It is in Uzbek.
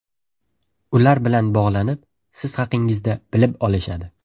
Ular bilan bog‘lanib, siz haqingizda bilib olishadi.